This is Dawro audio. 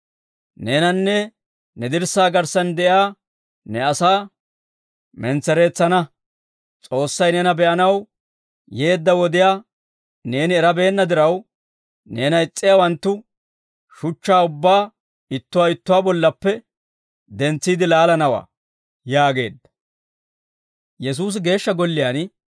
Neenanne ne dirssaa garssan de'iyaa ne asaa mentsereetsana. S'oossay neena be'anaw yeedda wodiyaa neeni erabeenna diraw, neena is's'iyaawanttu shuchchaa ubbaa ittuwaa ittuwaa bollappe dentsiide laalanawaa» yaageedda.